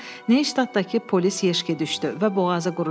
Yadına Neystatdakı polis Yeşki düşdü və boğazı qurudu.